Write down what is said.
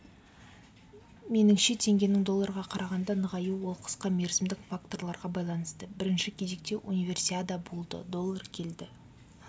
меніңше теңгенің долларға қарағанда нығаюы ол қысқа мерзімдік факторларға байланысты бірінші кезекте универсиада болды доллар келді